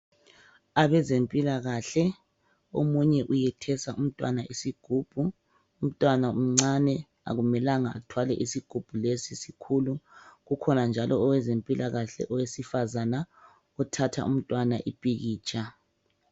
Abezempilakahle omunye uyethesa umntwana isigubhu umntwana umncane akumelanga athwale isigubhu lesi sikhulu. Kukhona njalo owezempikahle owesifazana uthatha umntwana ipikitsha.